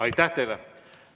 Aitäh teile!